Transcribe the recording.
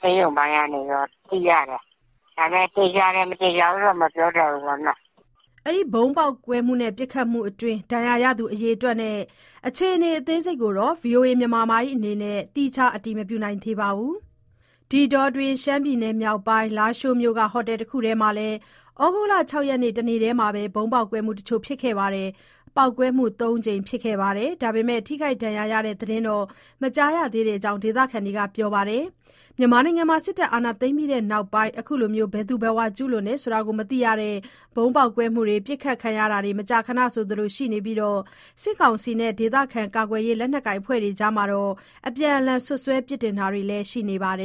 ဆေးရုံပိုင်းကနေ ပြန်သိရတယ်။ ဒါပေမဲ့ သေချာတယ်။ မသေချာဘူးတော့ မပြောတတ်ဘူးပေါ့။" ဒဏ်ရာရသူ အရေအတွက်နဲ့ အခြေအနေ အသေးစိတ်ကို ဗွီအိုအေ အနေနဲ့လည်း သီးခြား အတည်မပြုနိုင်သေးပါဘူး။ ဒီအတောအတွင်း ရှမ်းပြည်နယ်မြောက်ပိုင်း၊ လားရှိုးမြို့က ဟိုတယ်တခုမှာလည်း သြဂုတ်လ ၆ ရက် တနေ့တည်းမှာပဲ ဗုံးပေါက်ကွဲမှုတချို့ ဖြစ်ခဲ့ပါသေးတယ်။ ပေါက်ကွဲမှု ၃ ကြိမ် ဖြစ်ခဲ့ပေမဲ့၊ ထိခိုက်ဒဏ်ရာရတဲ့ သတင်းတော့ မကြားရသေးတဲ့အကြောင်း ဒေသခံတွေက ပြောပါတယ်။ မြန်မာနိုင်ငံမှာ စစ်တပ် အာဏာသိမ်းပြီးနောက်ပိုင်း အခုလို ဘယ်သူဘယ်ဝါ ကျူးလွန်တယ်ဆိုတာ မသိရတဲ့ ဗုံးပေါက်ကွဲမှုတွေ၊ ပစ်ခတ်ခံရတာတွေ မကြာခဏ ဆိုသလို ရှိနေပြီး၊ စစ်ကောင်စီနဲ့ ဒေသခံ ကာကွယ်ရေး လက်နက်ကိုင် အဖွဲ့တွေကြား အပြန်အလှန် စွပ်စွဲ ပြစ်တင်တာတွေလည်း ရှိနေပါတယ်